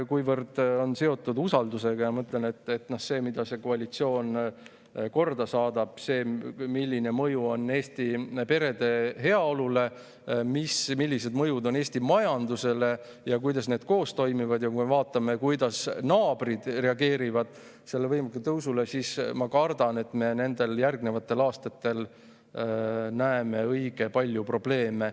Kuivõrd see eelnõu on seotud usaldusküsimusega, ma ütlen, et see, mida koalitsioon korda saadab, milline mõju on sellel Eesti perede heaolule, milline mõju on Eesti majandusele ja kuidas need koos toimivad, ning kui me vaatame, kuidas naabrid reageerivad sellele võimsale tõusule – ma kardan, et järgnevatel aastatel me näeme õige palju probleeme.